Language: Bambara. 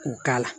K'u k'a la